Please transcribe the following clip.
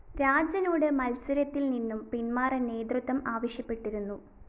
രാജനോട് മത്സരത്തില്‍ നിന്നും പിന്മാറാന്‍ നേതൃത്വം ആവശ്യപ്പെട്ടിരുന്നു